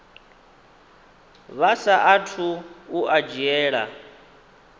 vha saathu u a dzhiela